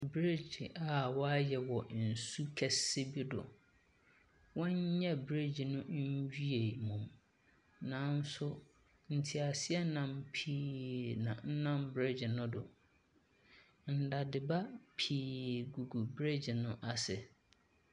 Breegye a wayɛ wɔ nsu kɛse bi do. Wɔnnyɛ breegye no nwie yɛ mmom. Nanso teaseɛnam pii na ɛnam breegye no do. Nnade ba pii gugu breegye no ase.